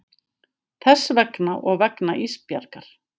Þess vegna og vegna Ísbjargar.